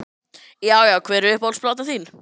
Já Já Hver er uppáhalds platan þín?